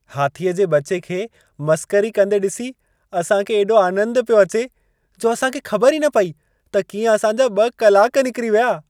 हाथीअ जे ॿचे खे मसख़री कंदे ॾिसी असां खे एॾो आनंदु पियो अचे, जो असां खे ख़बर ई न पई त कीअं असां जा ॿ कलाक निकिरी विया।